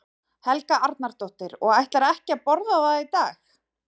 Helga Arnardóttir: Og ætlarðu ekki að borða það í dag?